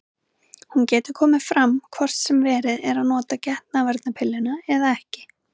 Hún getur komið fram hvort sem verið er að nota getnaðarvarnarpilluna eða ekki.